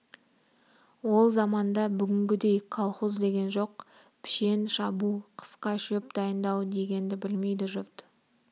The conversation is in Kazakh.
ол заманда бүгінгідей колхоз деген жоқ пішен шабу қысқа шөп дайындау дегенді білмейді жұрт